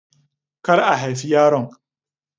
Kar a haifi yaron.